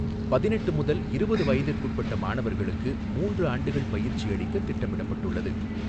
பதினெட்டு முதல் இருபது வயதிற்குட்பட்ட மாணவர்களுக்கு மூன்று ஆண்டுகள் பயிற்சி அளிக்க திட்டமிடப்பட்டுள்ளது.